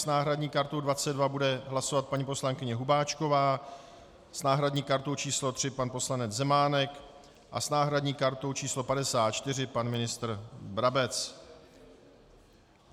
S náhradní kartou 22 bude hlasovat paní poslankyně Hubáčková, s náhradní kartou číslo 3 pan poslanec Zemánek a s náhradní kartou číslo 54 pan ministr Brabec.